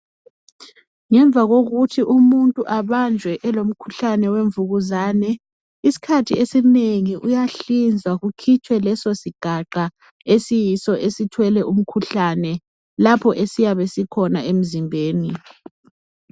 Ngemva kokuthi umuntu abanjwe elomkhuhlane wemvukuzane. Iskhathi esinengi uyahlinzwa kukhitshwe leso sigaqa esiyiso esithwele umkhuhlane, lapho esiyabe sikhona emzimbeni.